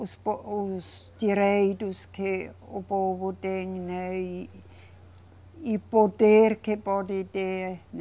Os po, os direitos que o povo tem, né e, e poder que pode ter, né.